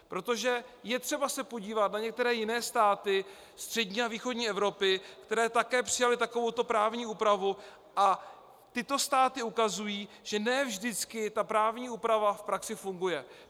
Protože je třeba se podívat na některé jiné státy střední a východní Evropy, které také přijaly takovouto právní úpravu, a tyto státy ukazují, že ne vždycky ta právní úprava v praxi funguje.